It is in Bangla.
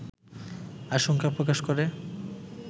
আশঙ্কা প্রকাশ করে